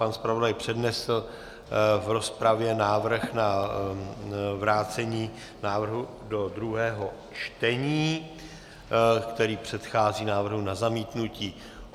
Pan zpravodaj přednesl v rozpravě návrh na vrácení návrhu do druhého čtení, který předchází návrhu na zamítnutí.